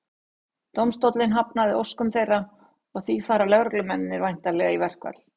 Dómstóllinn hafnaði óskum þeirra og því fara lögreglumennirnir væntanlega í verkfall.